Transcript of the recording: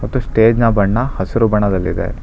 ಮತ್ತು ಸ್ಟೇಜ್ ನ ಬಣ್ಣ ಹಸಿರು ಬಣ್ಣದಲ್ಲಿದೆ